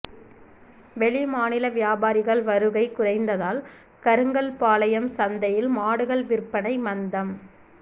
வெளிமாநில வியாபாரிகள் வருகை குறைந்ததால் கருங்கல்பாளையம் சந்தையில் மாடுகள் விற்பனை மந்தம்